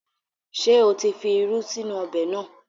Ṣé o tí fi irú sínú ọbẹ̀ náà?